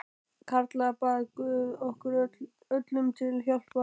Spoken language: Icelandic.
Karla bað guð okkur öllum til hjálpar.